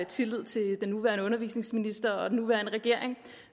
tillid til den nuværende undervisningsminister og den nuværende regering